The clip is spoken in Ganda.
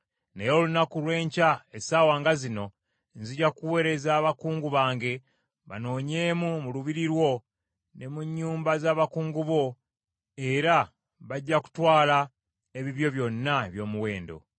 Naye olunaku lw’enkya essaawa nga zino nzija kuweereza abakungu bange banoonyeemu mu lubiri lwo ne mu nnyumba z’abakungu bo, era bajja kutwala ebibyo byonna eby’omuwendo.’ ”